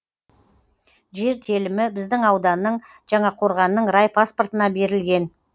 жер телімі біздің ауданның жаңақорғанның райпаспортына берілген